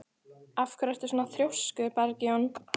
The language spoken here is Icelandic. Af hverju ertu svona þrjóskur, Bergjón?